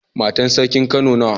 Matan sarkin kano nawa?